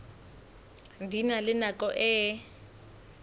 di na le nako e